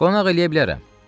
Qonaq eləyə bilərəm.